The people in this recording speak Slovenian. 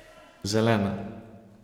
Zelena.